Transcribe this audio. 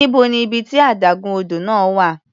Níbo ni ibi tí adágún odò náà wà?